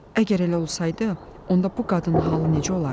Əgər elə olsaydı, onda bu qadının halı necə olardı?